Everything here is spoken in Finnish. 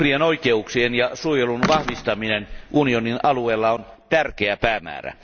Uhrien oikeuksien ja suojelun vahvistaminen unionin alueella on tärkeä päämäärä.